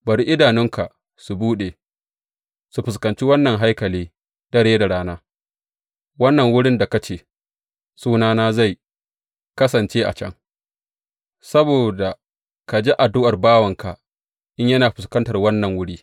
Bari idanunka su buɗe, su fuskanci wannan haikali dare da rana, wannan wurin da ka ce, Sunana zai kasance a can,’ saboda ka ji addu’ar bawanka in yana fuskantar wannan wuri.